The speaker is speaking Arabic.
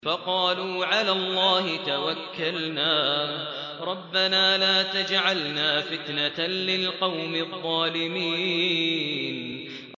فَقَالُوا عَلَى اللَّهِ تَوَكَّلْنَا رَبَّنَا لَا تَجْعَلْنَا فِتْنَةً لِّلْقَوْمِ الظَّالِمِينَ